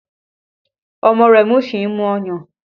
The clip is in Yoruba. Ọmọ Remi sì ń mu ọyàn